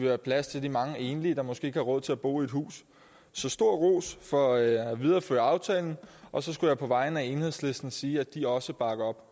have plads til de mange enlige der måske ikke har råd til at bo i et hus så stor ros for at videreføre aftalen og så skal jeg på vegne af enhedslisten sige at de også bakker op